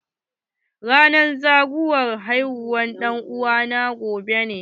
Ranar zagowar haihuwa na ɗan'uwa na gobe ne.